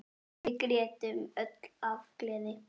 Við grétum öll af gleði.